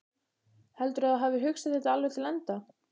Heldurðu að þú hafir hugsað þetta alveg til enda?